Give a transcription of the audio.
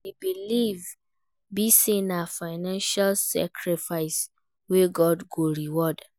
Di believe be say na financial sacrifice wey God go reward